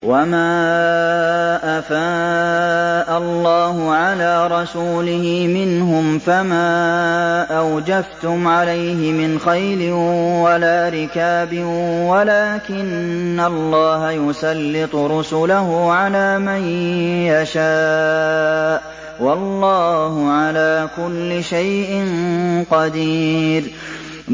وَمَا أَفَاءَ اللَّهُ عَلَىٰ رَسُولِهِ مِنْهُمْ فَمَا أَوْجَفْتُمْ عَلَيْهِ مِنْ خَيْلٍ وَلَا رِكَابٍ وَلَٰكِنَّ اللَّهَ يُسَلِّطُ رُسُلَهُ عَلَىٰ مَن يَشَاءُ ۚ وَاللَّهُ عَلَىٰ كُلِّ شَيْءٍ قَدِيرٌ